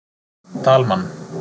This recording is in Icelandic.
Dalmann